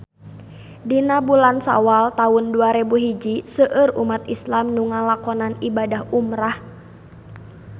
Dina bulan Sawal taun dua rebu hiji seueur umat islam nu ngalakonan ibadah umrah